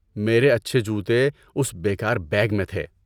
میرے اچھے جوتے اس بے کار بیگ میں تھے۔